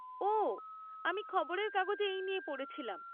ওঃ, আমি খবরের কাগজে এই নিয়ে পড়েছিলাম।